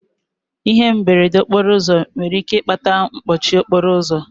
Ihe mberede okporo ụzọ nwere ike ịkpata mkpọchi okporo ụzọ.